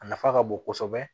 A nafa ka bon kosɛbɛ